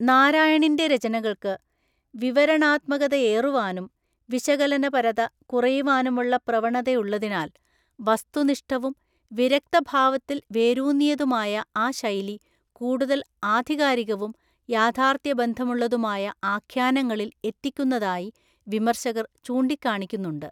നാരായണിൻ്റെ രചനകൾക്ക് വിവരണാത്മകതയേറുവാനും വിശകലനപരത കുറയുവാനുമുള്ള പ്രവണതയുള്ളതിനാൽ, വസ്തുനിഷ്ഠവും വിരക്തഭാവത്തിൽ വേരൂന്നിയതുമായ ആ ശൈലി കൂടുതൽ ആധികാരികവും യാഥാർത്ഥ്യബന്ധമുള്ളതുമായ ആഖ്യാനങ്ങളിൽ എത്തിക്കുന്നതായി വിമർശകർ ചൂണ്ടിക്കാണിക്കുന്നുണ്ട്.